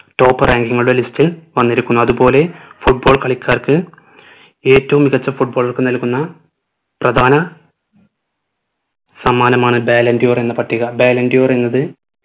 top rank ഉമ list വന്നിരിക്കുന്നു അത്പോലെ football കളിക്കാർക്ക് ഏറ്റവും മികച്ച foot baller ക്ക് നൽകുന്ന പ്രധാന സമ്മാനമാണ് ballon d'or എന്ന പട്ടിക ballon d'or എന്നത്